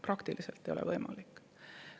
Praktiliselt ei ole see võimalik.